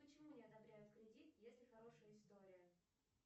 почему не одобряют кредит если хорошая история